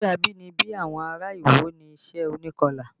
Iṣẹ́ abínibí àwọn ará Iwo ni iṣẹ́ onikọlà